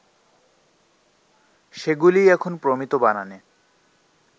সেগুলিই এখন প্রমিত বানানে